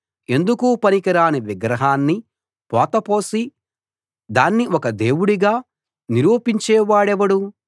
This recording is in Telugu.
ఎందుకూ పనికిరాని విగ్రహాన్ని పోత పోసి దాన్ని ఒక దేవుడిగా నిరూపించేవాడెవడు